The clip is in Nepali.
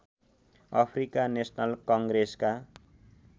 Africa national कङ्ग्रेसका